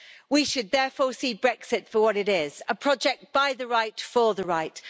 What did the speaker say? We should therefore see Brexit for what it is a project by the Right for the Right.